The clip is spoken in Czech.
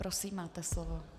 Prosím, máte slovo.